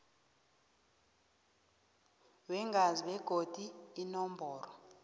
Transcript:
weengazi begodu inomboro